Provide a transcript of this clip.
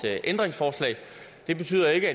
ændringsforslag det betyder ikke